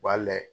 U b'a layɛ